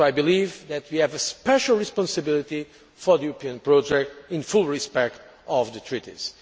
I believe that we have a special responsibility for the European project in full respect of the Treaties.